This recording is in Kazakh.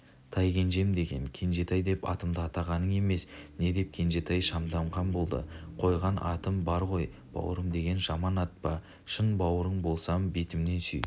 тайкенжем деген кенжетай деп атымды атағаның емес не деп кенжетай шамданған болды қойған атым бар ғой бауырым деген жаман ат па шын бауырың болсам бетімнен сүй